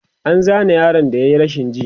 an Zane yaron da yayi rashin ji